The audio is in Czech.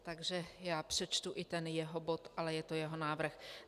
Takže já přečtu i ten jeho bod, ale je to jeho návrh.